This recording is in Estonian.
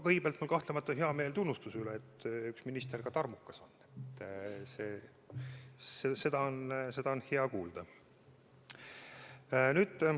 Kõigepealt on kahtlemata hea meel tunnustuse üle, et üks minister ka tarmukas on, seda on hea kuulda.